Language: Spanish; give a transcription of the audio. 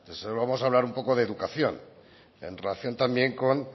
vamos a hablar un poco de educación en relación también con